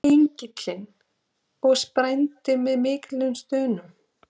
Engillinn og sprændi með miklum stunum.